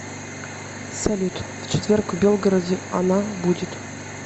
салют в четверг в белгороде она будет